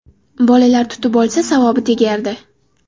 Bolalar tutib olsa, savobi tegardi.